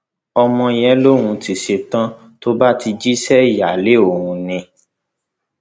ọmọ yẹn lòún ti ṣẹtàn tó bá ti jẹ iṣẹ ìyáálé òun ni